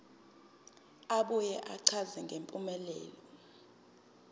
abuye achaze ngempumelelo